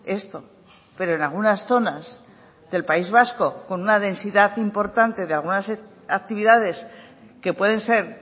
esto pero en algunas zonas del país vasco con una densidad importante de algunas actividades que pueden ser